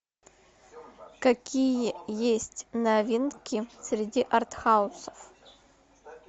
какие есть новинки среди артхаусов